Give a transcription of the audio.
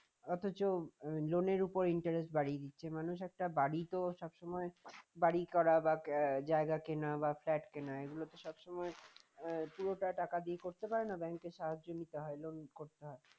অথচ loan এর উপর interest বাড়িয়ে দিচ্ছে মানুষ একটা বাড়ি তো সব সময় বাড়ি করা জায়গা কেনা বা flat কেনা এগুলো তো সব সময় আহ পুরোটা টাকা দিয়ে করতে পারে না bank এর সাহায্য নিতে হয় loan করতে হয়